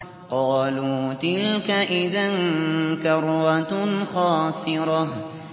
قَالُوا تِلْكَ إِذًا كَرَّةٌ خَاسِرَةٌ